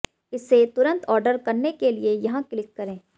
इसे तुरंत ऑर्डर करने के लिए यहां क्लिक करें